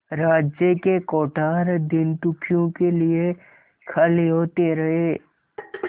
राज्य के कोठार दीनदुखियों के लिए खाली होते रहे